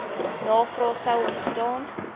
navrae sou ontstaan